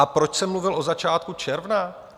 A proč jsem mluvil o začátku června?